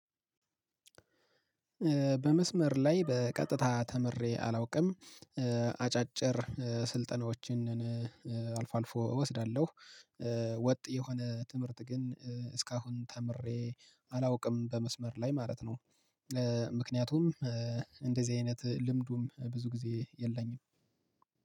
በመስመር ላይ በቀጥታ ተምሬ አላውቅም አጫጭር ስልጠናዎችን አልፎ አልፎ እወስዳለሁ። ወጥ የሆነ ትምህርት ግን እስካሁን ተምሬ አላውቅም በመስመር ላይ ማለት ነው። ምክንያቱም እንደዚህ አይነት ልምዱም ብዙ ጊዜ የለኝም።